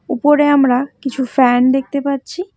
উপরে আমরা কিছু ফ্যান দেখতে পাচ্ছি।